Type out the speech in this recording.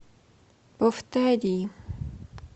повтори